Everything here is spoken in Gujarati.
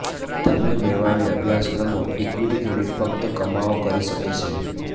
તમે લેવાયેલી અભ્યાસક્રમો ઇક્વિટી ક્રેડિટ ફક્ત કમાઓ કરી શકે છે